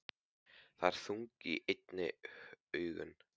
Það eru þung í henni augun.